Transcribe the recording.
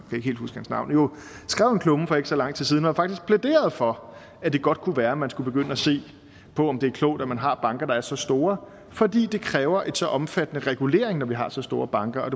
ikke helt huske hans navn jo skrev en klumme for ikke så lang tid siden hvor han faktisk plæderede for at det godt kunne være at man skulle begynde at se på om det er klogt at man har banker der er så store fordi det kræver en så omfattende regulering når vi har så store banker og